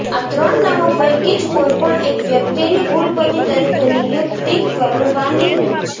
આ ત્રણ નામો પૈકી જ કોઇપણ એક વ્યક્તિની કુલપતિ તરીકે નિયુક્તિ કરવાની હોય છે